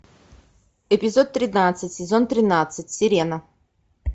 эпизод тринадцать сезон тринадцать сирена